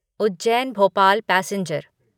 Ujjain Bhopal passenger